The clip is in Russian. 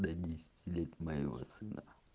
до десяти лет моего сына